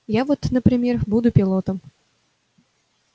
я вот например буду пилотом